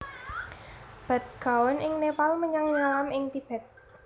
Bhadgaon ing Nepal menyang Nyalam ing Tibet